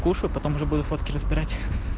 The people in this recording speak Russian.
кушаю потом уже буду фотки разбирать